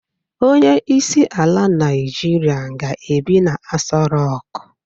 Onyeisi ala naijiria ga-ebi na Aso Rock.